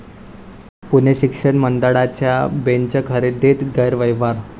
पुणे शिक्षक मंडळाच्या बेंच खरेदीत गैरव्यवहार!